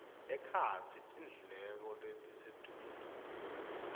ekhatsi tindleko letisetulu